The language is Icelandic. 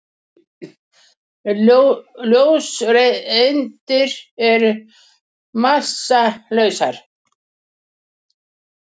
Ljóseindir eru massalausar.